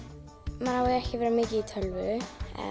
maður á ekki að vera mikið í tölvu